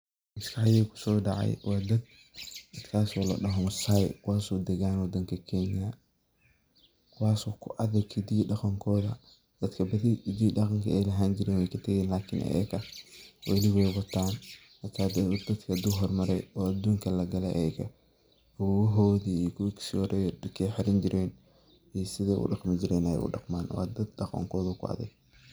Islaani kusodactay wa dad kasoo ladahay massay kuwaso dagan wadanga keenya kuwasoo ku adeeg hidaha iyo daqankotha dadka bathi hde iyo daqanka lahaani jeeren way katageen ikln ayaka wali way wataan dadka handu hormary oo aduunkali lagaya ayaga kuwahiothi iyo koodeskothi dargay xeeran jeeran iyo sedi u daqmi jeerin Aya udaqman wa dad daqankotha wuu ku adeeg.